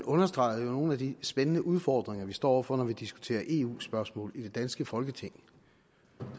understregede nogle af de spændende udfordringer vi står over for når vi diskuterer eu spørgsmål i det danske folketing